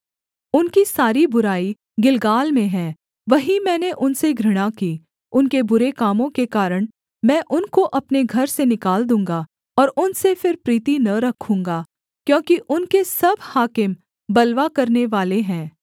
उनकी सारी बुराई गिलगाल में है वहीं मैंने उनसे घृणा की उनके बुरे कामों के कारण मैं उनको अपने घर से निकाल दूँगा और उनसे फिर प्रीति न रखूँगा क्योंकि उनके सब हाकिम बलवा करनेवाले हैं